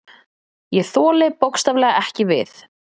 Ég þoli bókstaflega ekki við.